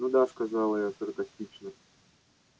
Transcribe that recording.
ну да сказала я саркастично